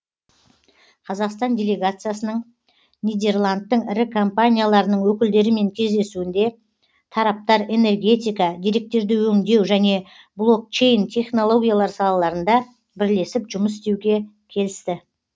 қазақстан делегациясының нидерландтың ірі компанияларының өкілдерімен кездесуінде тараптар энергетика деректерді өңдеу және блокчейн технологиялар салаларында бірлесіп жұмыс істеуге келісті